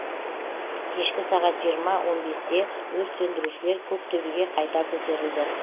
кешкі сағат жиырма он бесте өрт сөндірушілер көк төбеге қайта көтерілді